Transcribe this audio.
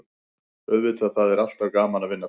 Auðvitað, það er alltaf gaman að vinna titla.